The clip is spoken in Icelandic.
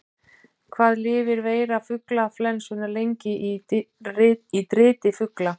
Hvað lifir veira fuglaflensunnar lengi í driti fugla?